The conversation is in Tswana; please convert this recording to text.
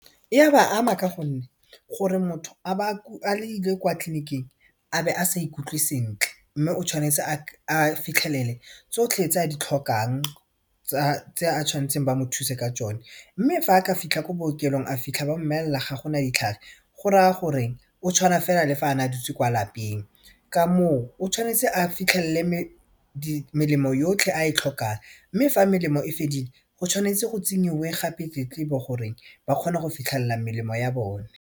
E a ba ama ka gonne gore motho a ba a ile kwa tleliniking a be a sa ikutlwe sentle mme o tshwanetse a fitlhelele tsotlhe tse a di tlhokang tse a tshwanetseng ba mo thuse ka tsone mme fa a ka fitlha ko bookelong a fitlha ba mmolella ga gona ditlhare go raya gore o tshwana fela le fa ane a dutse kwa lapeng ka moo o tshwanetse a fitlhelele yotlhe a e tlhokang mme fa melemo e fedile go tshwanetse go tsenyiwe gape tletlebo gore ba kgone go fitlhella melemo ya bone.